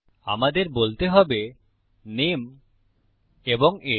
আমাদের বলতে হবে নামে এবং আগে